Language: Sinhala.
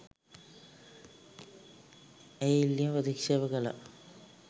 ඒ ඉල්ලීම ප්‍රතික්ෂේප කළා.